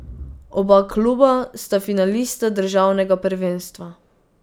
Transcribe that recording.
Oba kluba sta finalista državnega prvenstva.